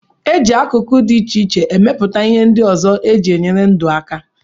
E ji akụkụ dị iche iche emepụta ihe ndị ọzọ e ji enyere ndụ aka